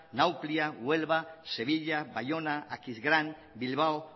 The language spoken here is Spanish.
nauplia huelva sevilla bayona aquisgrán bilbao